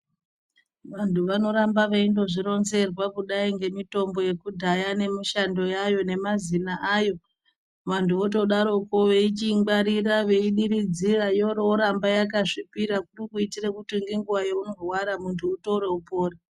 Vantu vanoramba veingo zvironzerwa kudai ngemutombo yekudhaya nemishando yayayo nemazina ayov antu votodaroko veichiingwarira veidiridzira yochiramba yakasvipira kuitira kuti nenguva yaunorwara utore upone.